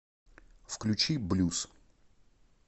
включи блюз